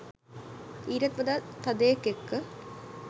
ඊටත් වඩා තදයෙක් එක්ක